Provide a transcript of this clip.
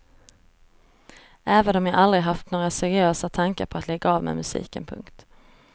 Även om jag aldrig haft några seriösare tankar på att lägga av med musiken. punkt